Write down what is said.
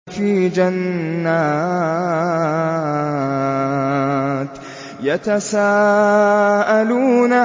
فِي جَنَّاتٍ يَتَسَاءَلُونَ